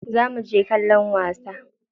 Za muje kallon wasa.